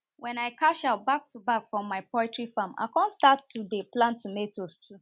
wen i cash out back to back from my poulty farm i con start to dey plant tomatoes too